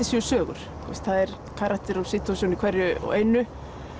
séu sögur það er karakter og situation í hverju og einu